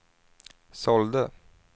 sålde